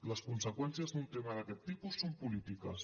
les conseqüències d’un tema d’aquest tipus són polítiques